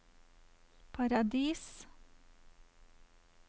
Paradis